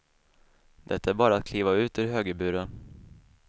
Det är bara att kliva ut ur högerburen.